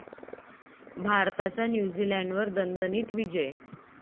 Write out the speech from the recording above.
भारताचा न्यूझीलंडवर दणदणीत विजय